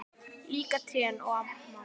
Líka trén og mamma.